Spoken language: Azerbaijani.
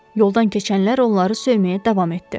Yoldan keçənlər onları söyməyə davam etdi.